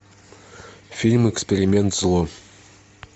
фильм эксперимент зло